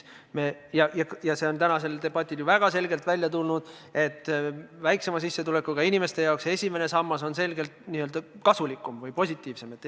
Ja see on tänasel debatil väga selgelt välja tulnud, et väiksema sissetulekuga inimeste jaoks on esimene sammas selgelt kasulikum või positiivsem.